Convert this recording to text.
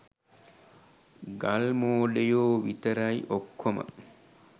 ගල් මෝඩයෝ විතරයි.ඔක්කොම